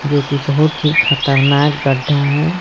जोकि बहुत ही खतरनाक गड्ढा है।